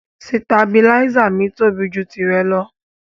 Sìtàbílísa mi tóbi jù tìrẹ lọ.